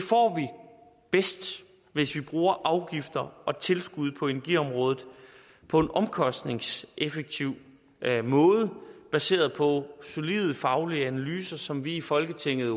bedst hvis vi bruger afgifter og tilskud på energiområdet på en omkostningseffektiv måde baseret på solide faglige analyser som vi i folketinget